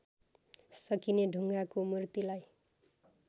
सकिने ढुङ्गाको मूर्तिलाई